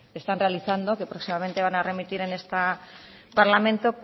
están realizando que próximamente van a remitir a este parlamento